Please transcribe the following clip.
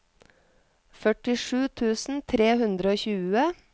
førtisju tusen tre hundre og tjue